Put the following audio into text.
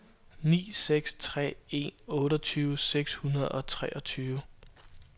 ni seks tre en otteogtyve seks hundrede og treogtyve